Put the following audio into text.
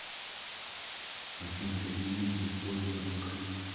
афина какие деньги используются на украине